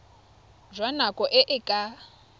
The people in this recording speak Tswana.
jwa nako e e ka